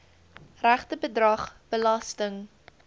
regte bedrag belasting